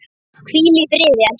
Hvíl í friði, elsku vinur.